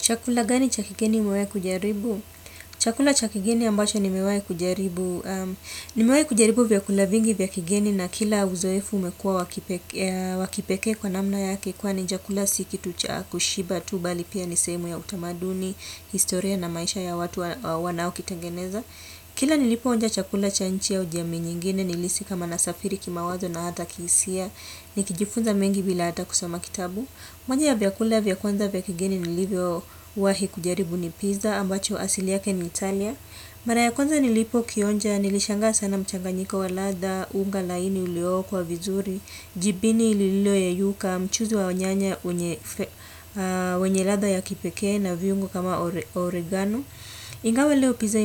Chakula gani chakigeni umewai kujaribu? Chakula chakigeni ambacho nimewai kujaribu. Nimewai kujaribu vyakula vingi vyakigeni na kila uzoefu umekua wakipeke kwa namna yake. Kwa ni chakula sikitu chakushiba tu bali pia nisemu ya utamaduni, historia na maisha ya watu wanaokitangeneza. Kila nilipo onja chakula chanchi au jami nyingine nilisi kama nasafiri kimawazo na hada kisia. Nikijifunza mengi bila hata kusoma kitabu. Monja ya vya kule vya kwanza vya kigeni nilivyo wahi kujaribu ni pizza ambacho asili yake ni Italia. Maraya kwanza nilipo kionja nilishanga sana mchanganyiko wa latha, unga laini uleo kwa vizuri, jibini ililio yeyuka, mchuzi wa nyanya wenye ladha ya kipeke na viungo kama oregano. Ingawa leo pizza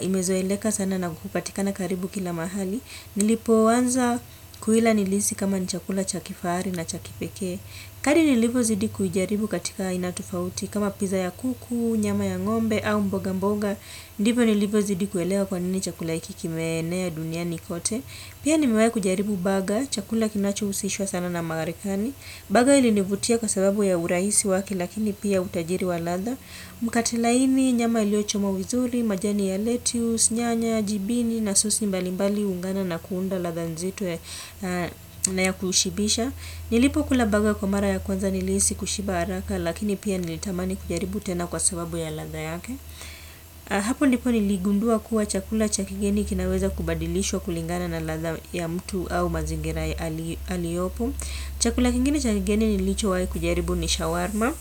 imezoeleka huku na hupatikana karibu kila mahali. Nilipo wanza kuila nilisi kama ni chakula chakifaari na chakipeke. Kali nilivo zidi kuijaribu katika inatufauti kama piza ya kuku, nyama ya ngombe au mboga mboga. Ndipo nilivo zidi kuelewa kwanini chakula ikikimenea duniani kote. Pia nimewai kuijaribu baga, chakula kinacho usishwa sana na marekani. Baga ilinivutia kwa sababu ya urahisi wake lakini pia utajiri wa latha. Mkate laini, nyama iliochomwa vizuri, majani ya lettuce, nyanya, jibini na sosi mbalimbali ungana na kuunda latha nzitwe na ya kushibisha. Nilipo kula baga kwa mara ya kwanza niliisi kushiba araka lakini pia nilitamani kujaribu tena kwa sababu ya latha yake. Hapo ndipo niligundua kuwa chakula chakigeni kinaweza kubadilishwa kulingana na latha ya mtu au mazingira aliopo. Chakula kingine chakigeni nilicho wae kujaribu ni shawarma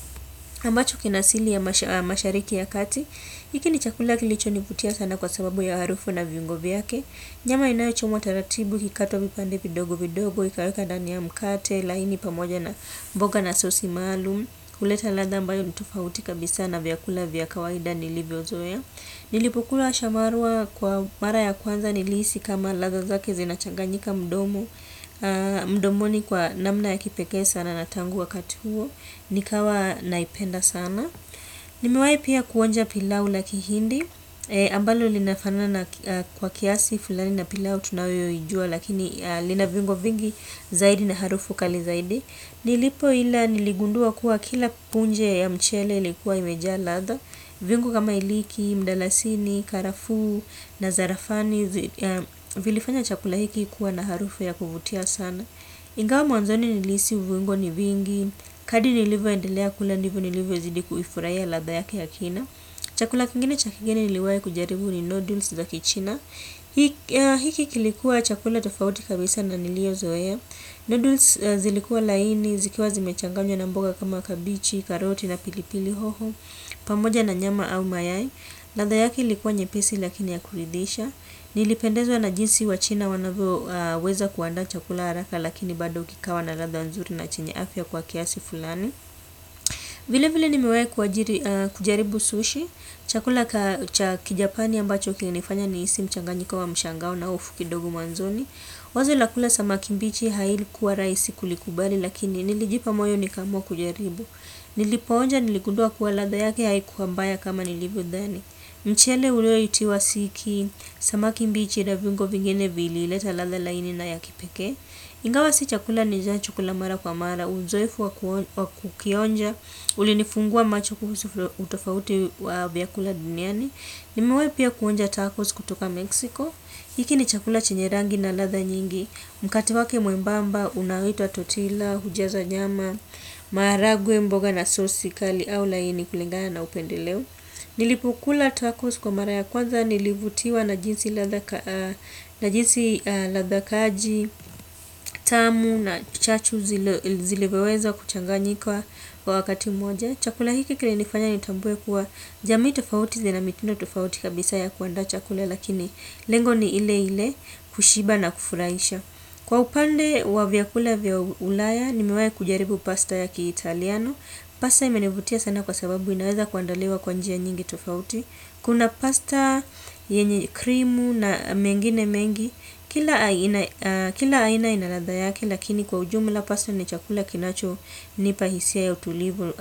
ambacho kinasili ya mashariki ya kati hiki ni chakula kilicho niputia sana kwa sababu ya harufu na viungo vyake nyama inauchomwa taratibu kikato vipande vidogo vidogo ikaweka dani ya mkate laini pamoja na mboga na sosi malum kuleta ladha ambayo ntufauti kabisa na vyakula vya kawaida nilivyo zoea nilipokula shamarua kwa mara ya kwanza nilisi kama ladha zake zinachanganyika mdomo mdomoni kwa namna ya kipeke sana na tangu wakati huo. Nikawa naipenda sana. Nimiwai pia kuonja pilau laki hindi ambalo linafanana kwa kiasi fulani na pilau tunayoijua. Lakini lina viungo vingi zaidi na harufu kali zaidi. Nilipo ila niligundua kuwa kila punje ya mchele likuwa imeja latha. Viungo kama iliki, mdalasini, karafu, nazarafani. Vilifanya chakula hiki kuwa na harufu ya kuvutia sana. Ingawa mwanzoni nilisi viungo ni vingi. Kadri nilivo endelea kula ndivo nilivo zidi kuifuraia latha yake ya kina. Chakula kingine chakigeni niliwai kujaribu ni noodles za kichina hiki kilikuwa chakula tofauti kabisa na nilio zoea. Noodles zilikua laini, zikiwa zimechanganywa na mboga kama kabichi, karoti na pilipili hoho pamoja na nyama au mayai. Latha yake likuwa nyepesi lakini ya kuridisha. Nilipendezwa na jinsi wa china wanavyo weza kuandaa chakula haraka lakini bada ukikawa na latha nzuri na chenye afya kwa kiasi fulani. Vile vile nimewai kujaribu sushi. Chakula kajapani ambacho kinanifanya nihisi mchanganyiko wa mshangau na ofu kidogu mwanzoni. Wazo lakula samaki mbichi haili kuwa raisi kulikubali lakini nilijipa moyo nikamua kujaribu. Nilipoonja niligudua kuwa latha yake haikuwa mbaya kama nilivo dhani. Mchele ulio itiwa siki, samakimbichi na viungo vingine vili leta latha laini na yakipeke. Ingawa si chakula ni jancho kula mara kwa mara, unzoefu wakukionja, ulinifungua macho kuhusu utofauti wa vyakula duniani. Nimewai pia kuonja tacos kutoka Mexico, hiki ni chakula chenyerangi na latha nyingi. Mkate wake mwembamba, unaitwa totila, hujaza nyama, maharagwe mboga na sosi kali au laini kulingana na upendeleo. Nilipukula tacos kwa mara ya kwanza nilivutiwa na jinsi ladha kaji, tamu na chachu zilevyoweza kuchanganyika kwa wakati moja. Chakula hiki kile nifanya nitambue kuwa jamii tofauti zina mitindo tofauti kabisa ya kuanda chakula lakini lengo ni ile ile kushiba na kufuraisha. Kwa upande wa vyakula vya ulaya nimewai kujaribu pasta ya kiitaliano. Pasta imenivutia sana kwa sababu inaweza kuandaliwa kwa njia nyingi tofauti. Kuna pasta, yenye krimu na mengine mengi. Kila aina ina ladha yake, lakini kwa ujumla pasta ni chakula kinacho nipa hisia ya utulivu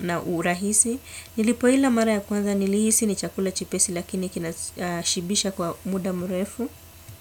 na urahisi. Nilipo ila mara ya kwanza nilihisi ni chakula chepesi lakini kinashibisha kwa muda mrefu.